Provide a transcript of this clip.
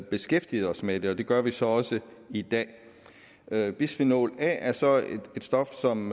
beskæftiget os med det og det gør vi så også i dag dag bisfenol a er så et stof som